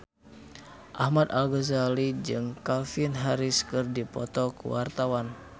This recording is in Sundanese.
Ahmad Al-Ghazali jeung Calvin Harris keur dipoto ku wartawan